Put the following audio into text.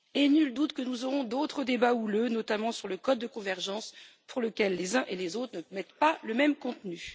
Nul doute que nous aurons d'autres débats houleux, notamment sur le code de convergence dans lequel les uns et les autres ne mettent pas le même contenu.